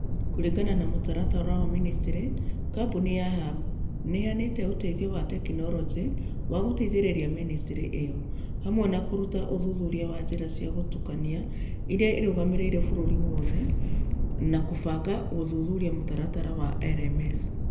Kũringana na mũtaratara wa Ministry, kambuni ya Hub nĩ ĩheanĩte ũteithio wa tekinoronjĩ wa gũteithĩrĩria ministry ĩyo, hamwe na kũruta ũthuthuria wa njĩra cia gũtukania iria irũgamĩrĩire bũrũri wothe, na kũbanga gũthuthuria mũtaratara wa LMS.